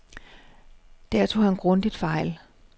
Der tog han grundigt fejl.